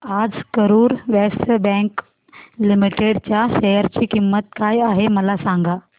आज Karur Vysya bank limited च्या share ची किंमत काय आहे मला सांगा